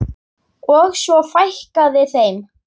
Og svo fækkaði þeim.